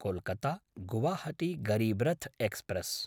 कोल्कत्ता–गुवाहाटी Garib Rath express